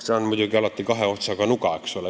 See on muidugi kahe otsaga nuga.